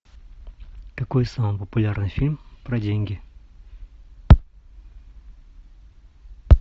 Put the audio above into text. какой самый популярный фильм про деньги